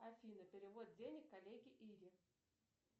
афина перевод денег коллеге ире